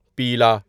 پیلا